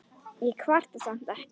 Ég kvarta samt ekki.